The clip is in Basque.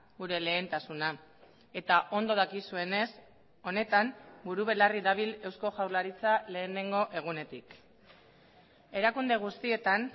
gure lehentasuna eta ondo dakizuenez honetan buru belarri dabil eusko jaurlaritza lehenengo egunetik erakunde guztietan